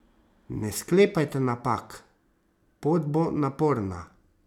Ne sklepajte napak, pot bo naporna.